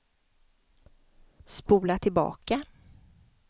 spola tillbaka